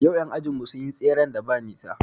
Yau ƴan ajin mu sun yi tseren da ba nisa